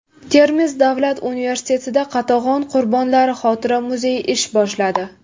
Termiz davlat universitetida Qatag‘on qurbonlari xotira muzeyi ish boshladi.